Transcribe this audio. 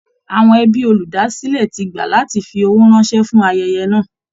Àwọn ẹbí olúdásílẹ̀ ti gbà láti fi owó ránṣẹ́ fún ayẹyẹ náà